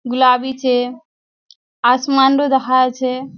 गुलाबी छे आसमान रो देखाय छे।